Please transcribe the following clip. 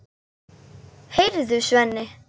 Heyrðu, Svenni!